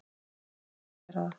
Ég verð að gera það!